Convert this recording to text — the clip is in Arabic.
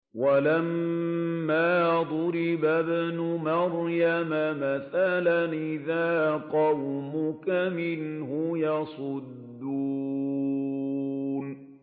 ۞ وَلَمَّا ضُرِبَ ابْنُ مَرْيَمَ مَثَلًا إِذَا قَوْمُكَ مِنْهُ يَصِدُّونَ